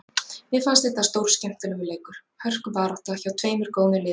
Mér fannst þetta stórskemmtilegur leikur, hörkubarátta, hjá tveimur góðum liðum.